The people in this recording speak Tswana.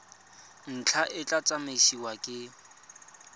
ntlha e tla tsamaisiwa ke